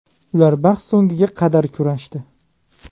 Ular bahs so‘ngiga qadar kurashdi.